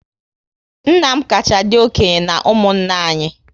Nna m kacha dị okenye na ụmụnna anyị